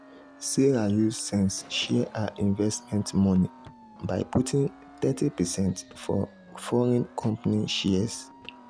sarah use sense share her investment money by putting thirty percent for foreign company shares.